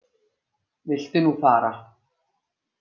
Viltu nú fara!